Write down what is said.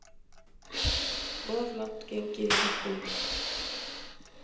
Of langt gengið í hækkunum